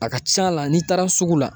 A ka ca a la n'i taara sugu la